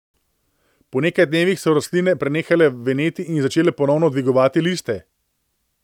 Po nekaj dnevih so rastline prenehale veneti in začele ponovno dvigovati liste.